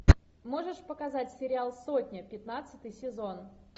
можешь показать сериал сотня пятнадцатый сезон